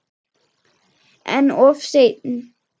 En of seinn.